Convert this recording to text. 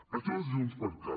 això és junts per cat